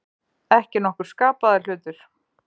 Ekki nokkur skapaður hlutur.